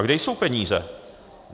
A kde jsou peníze?